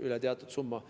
Üle teatud summa,